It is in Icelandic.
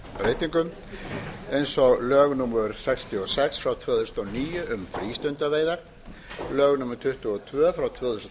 lagabreytingum eins og lög númer sextíu og sex tvö þúsund og níu um frístundaveiðar lög númer tuttugu og tvö tvö þúsund